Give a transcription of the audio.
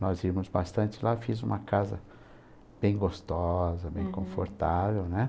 Nós íamos bastante lá, fiz uma casa bem gostosa, uhum, bem confortável, né?